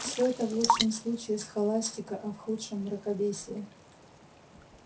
все это в лучшем случае схоластика а в худшем мракобесие